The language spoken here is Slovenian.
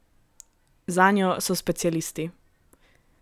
Zanjo so specialisti.